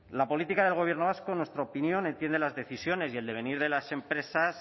la política del gobierno vasco en nuestra opinión entiende las decisiones y el devenir de las empresas